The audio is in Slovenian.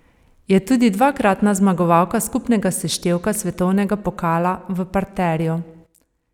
Je tudi dvakratna zmagovalka skupnega seštevka svetovnega pokala v parterju.